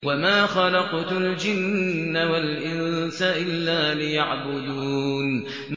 وَمَا خَلَقْتُ الْجِنَّ وَالْإِنسَ إِلَّا لِيَعْبُدُونِ